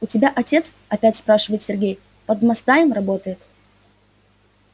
у тебя отец опять спрашивает сергей под мастдаем работает